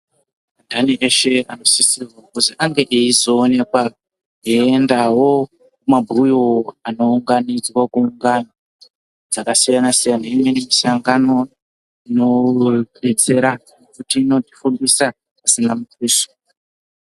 Andani eshe anosisirwa kuzi ange aizooneka eiendavo kumabhuyo anounganidzwa kungano dzakasiyana-siyana. Imwe misangano inobetsera kuti inotifundisa pasina mutuso.